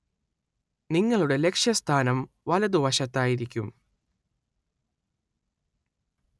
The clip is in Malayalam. നിങ്ങളുടെ ലക്ഷ്യസ്ഥാനം വലതുവശത്തായിരിക്കും.